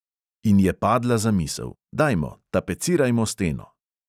In je padla zamisel: "dajmo, tapecirajmo steno."